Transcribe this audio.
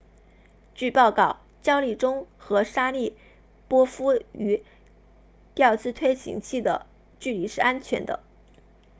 据报告焦立中 chiao 和沙里波夫 sharipov 与调姿推进器的距离是安全的